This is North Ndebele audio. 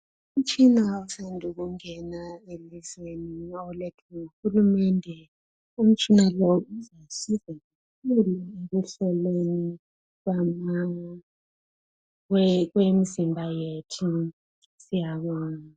Umtshina usandu kungena elizweni. Ulethwe nguhulumende. Umtshina lo uzasisiza ekuhlolweni kwemizimba yethu. Siyabonga.